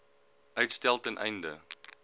uitstel ten einde